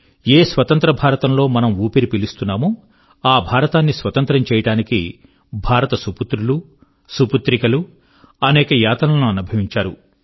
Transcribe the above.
ఏ స్వతంత్ర భారతం లో మనము ఊపిరి పీలుస్తున్నామో ఆ భారతాన్ని స్వతంత్రం చేయడానికి భారత సుపుత్రులు సుపుత్రికలు అనేక యాతనల ను అనుభవించారు